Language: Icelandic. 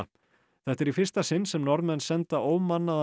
þetta er í fyrsta sinn sem Norðmenn senda